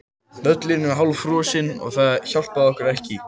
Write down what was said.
Völlurinn var hálffrosinn og það hjálpaði okkur ekki.